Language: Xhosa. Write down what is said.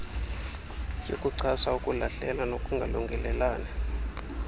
yokuchasa ukulahlela nokungalungelelani